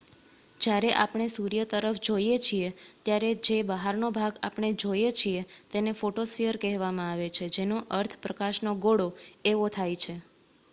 "જ્યારે આપણે સૂર્ય તરફ જોઈએ છીએ ત્યારે જે બહારનો ભાગ આપણે જોઈએ છીએ તેને ફોટોસ્ફીયર કહેવામાં આવે છે જેનો અર્થ "પ્રકાશનો ગોળો" એવો થાય છે.